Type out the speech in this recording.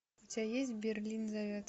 у тебя есть берлин зовет